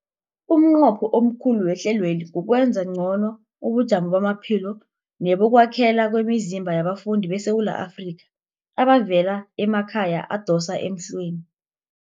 Umnqopho omkhulu wehlelweli kukwenza ngcono ubujamo bamaphilo nebokwakhela kwemizimba yabafundi beSewula Afrika abavela emakhaya adosa emhlweni.